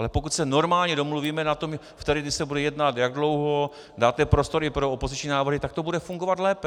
Ale pokud se normálně domluvíme na tom, které dny se bude jednat, jak dlouho dáte prostor pro opoziční návrhy, tak to bude fungovat lépe.